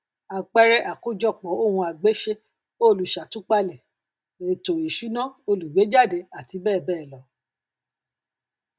àpẹẹrẹ àkójọpọ ohunagbéṣe olùṣàtúpalẹ ètò ìṣúná olùgbéejáde àti bẹẹ bẹẹ lọ